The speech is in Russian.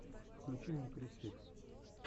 включи мне криз фикс